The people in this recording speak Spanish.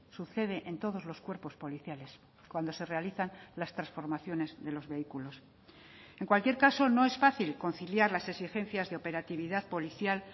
sucede en todos los cuerpos policiales cuando se realizan las transformaciones de los vehículos en cualquier caso no es fácil conciliar las exigencias de operatividad policial